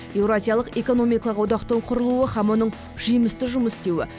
еуразиялық экономикалық одақтың құрылуы һәм оның жемісті жұмыс істеуі